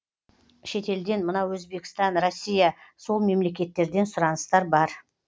шетелден мынау өзбекстан россия сол мемлекеттерден сұраныстар бар